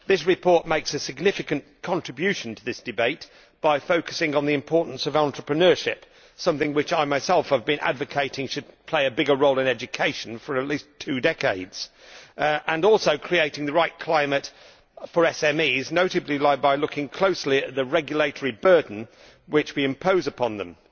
This report makes a significant contribution to this debate by focusing on the importance of entrepreneurship something which I myself have been advocating should play a bigger role in education for at least two decades and also creating the right climate for SMEs, notably by looking closely at the regulatory burden which we impose upon them.